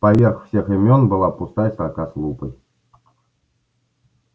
поверх всех имён была пустая строка с лупой